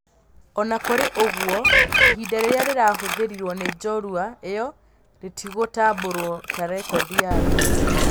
Ona kũrĩ ũguo ihinda rĩrĩa rĩrahũthĩrirwo nĩ njorua ĩyo rĩtigũtambũrwo ta rekodi ya thĩ